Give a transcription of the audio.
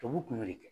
Tubabu kun y'o de kɛ